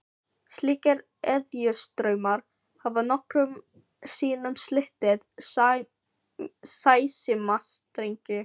Slíkir eðjustraumar hafa nokkrum sinnum slitið sæsímastrengi.